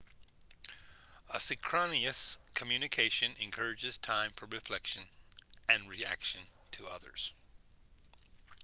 asynchronous communication encourages time for reflection and reaction to others